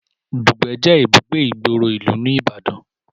Dùgbẹ̀ jé ibùgbé ìgboro ìlú ní ìbàdàn